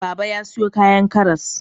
Baba ya sayo kayan karas.